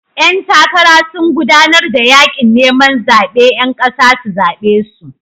Ƴan takara sun gudanar da yakin neman zaben 'yan kasa su zabe su.